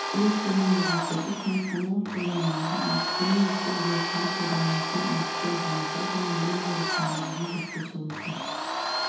келесі терминдерге сәйкес анықтамалар қолданылады әдістеме оқу үдерісінде пайдаланатын әдістер жиынтығы және білім беру ұстанымдарын зерттеу саласы